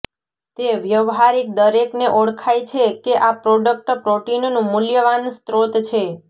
તે વ્યવહારીક દરેકને ઓળખાય છે કે આ પ્રોડક્ટ પ્રોટીનનું મૂલ્યવાન સ્રોત છે